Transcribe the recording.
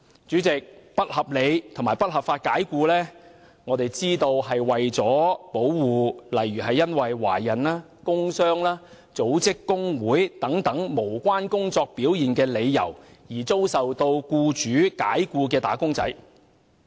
主席，引入"不合理及不合法解僱"的概念，是為了保護因懷孕、工傷及組織工會等無關工作表現的理由，而遭僱主解僱的"打工仔"。